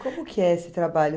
Como que é esse trabalho?